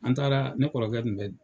An taara ne kɔrɔkɛ